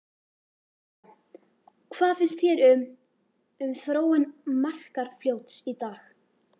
Helga: Hvað finnst þér um, um þróun Markarfljóts í dag?